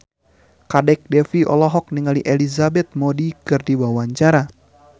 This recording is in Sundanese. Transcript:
Kadek Devi olohok ningali Elizabeth Moody keur diwawancara